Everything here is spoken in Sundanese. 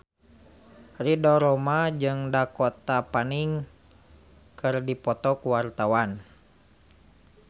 Ridho Roma jeung Dakota Fanning keur dipoto ku wartawan